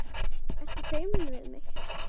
Ertu feimin við mig?